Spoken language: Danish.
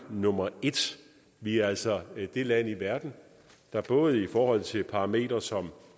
nummer et vi er altså det land i verden der både i forhold til parametre som